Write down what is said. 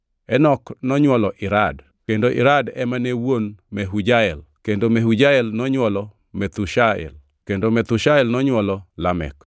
Enok nonywolo Irad: Kendo Irad ema ne wuon Mehujael, kendo Mehujael nonywolo Methushael kendo Methushael nonywolo Lamek.